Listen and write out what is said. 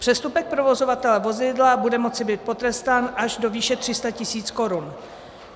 Přestupek provozovatele vozidla bude moci být potrestán až do výše 300 tisíc korun.